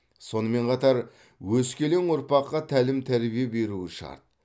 сонымен қатар өскелең ұрпаққа тәлім тәрбие беруі шарт